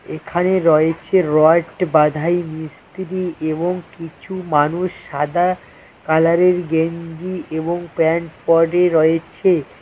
এখানে রয়েছে রয়েকটি বাধাই মিস্ত্রি এবং কিছু মানুষ সাদা কালারের গেঞ্জি এবং প্যান্ট পরে রয়েছে।